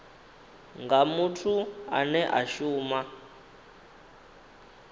nga muthu ane a shuma